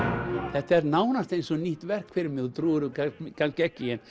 þetta er nánast eins og nýtt verk fyrir mér þú trúir mér kannski ekki en